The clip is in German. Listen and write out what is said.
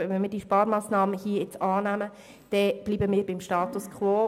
Wenn wir diese Massnahme beschliessen, bleiben wir beim Status quo.